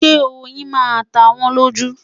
Ṣé oyin máa ta wọ́n lójú?